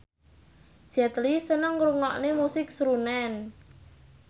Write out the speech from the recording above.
Jet Li seneng ngrungokne musik srunen